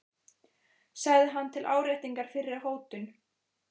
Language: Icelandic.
sagði hann til áréttingar fyrri hótun.